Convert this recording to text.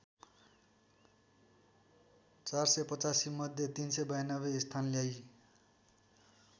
४८५ मध्ये ३९२ स्थान ल्याई